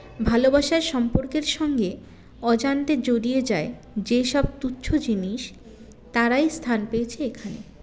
ভালোবাসার সম্পর্কের সঙ্গে অজান্তে জড়িয়ে যায় যে সব তুচ্ছ জিনিস তারাই স্থান পেয়েছে এখানে